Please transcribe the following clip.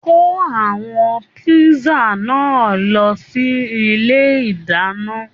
Kò àwọn pìṣà náà lọ sí ilé ìdáná.!